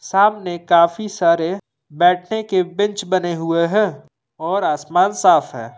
सामने काफी सारे बैठने के बेंच बने हुए हैं और आसमान साफ है।